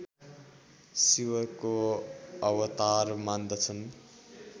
शिवको अवतार मान्दछन्